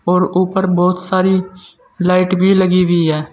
और ऊपर बहोत सारी लाइट भी लगी हुई है।